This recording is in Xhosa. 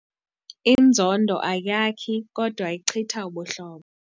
Inzondo ayakhi kodwa ichitha ubuhlobo.